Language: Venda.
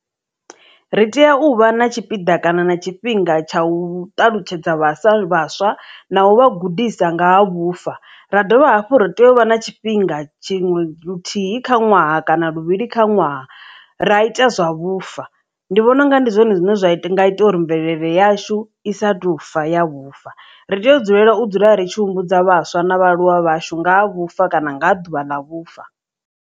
Ri tea u vha na tshipiḓa kana na tshifhinga tsha u ṱalutshedza vhaswa vhaswa na uvha gudisa nga ha vhufa ra dovha hafhu ri tea u vha na tshifhinga tshiṅwe luthihi kha ṅwaha kana luvhili kha ṅwaha ra ita zwa vhufa ndi vhona unga ndi zwone zwine zwa nga ita uri mvelele yashu i sa tofa ya vhufa ri tea u dzulela u dzula ri tshi humbudza vhaswa na vhaaluwa vhashu nga ha vhufa kana nga ḓuvha na vhufa.